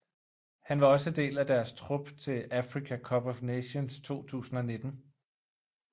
Han var også del af deres trup til Africa Cup of Nations 2019